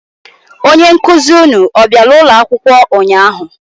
Onye nkụzị ụnụ ọ bịara ụlọ akwụkwọ ụnyaahụ?